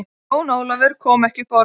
Jón Ólafur kom ekki upp orði.